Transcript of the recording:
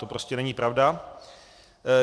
To prostě není pravda.